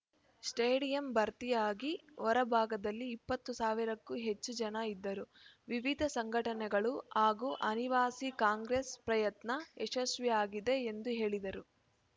stadium ಭರ್ತಿಯಾಗಿ ಹೊರ ಭಾಗದಲ್ಲಿ ಇಪ್ಪತ್ತು ಸಾವಿರಕ್ಕೂ ಹೆಚ್ಚು ಜನ ಇದ್ದರು ವಿವಿಧ ಸಂಘಟನೆಗಳು ಹಾಗೂ ಅನಿವಾಸಿ ಕಾಂಗ್ರೆಸ್‌ ಪ್ರಯತ್ನ ಯಶಸ್ವಿಯಾಗಿದೆ ಎಂದು ಹೇಳಿದರು